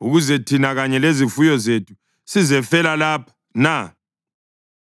Ukuze thina kanye lezifuyo zethu sizefela lapha na?